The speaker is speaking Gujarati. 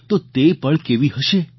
તો તે પળ કેવી હશે